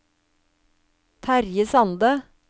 Terje Sande